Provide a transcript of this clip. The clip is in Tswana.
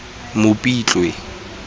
mopitlwe